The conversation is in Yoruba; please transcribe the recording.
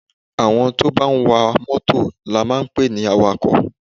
Àwọn tó bá wá mọ́tọ̀ la máa ń pe ní àwàkọ̀.